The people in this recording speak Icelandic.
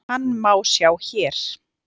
Hann má sjá hér.